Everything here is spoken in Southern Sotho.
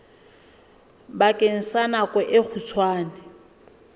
bakeng sa nako e kgutshwane